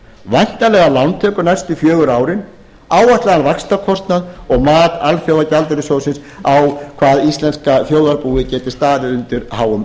væntanlegar lántökur næstu fjögur árin áætlaðan vaxtakostnað og mat alþjóðagjaldeyrissjóðsins á hvað íslenska þjóðarbúið getur staðið undir háum lánum